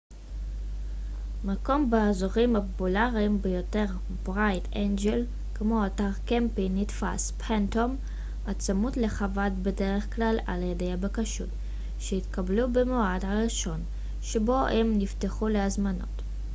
מקום באזורים הפופולריים ביותר כמו אתר קמפינג bright angel הצמוד לחוות phantom נתפס בדרך כלל על ידי הבקשות שהתקבלו במועד הראשון שבו הם נפתחו להזמנות